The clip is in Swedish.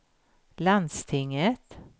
landstinget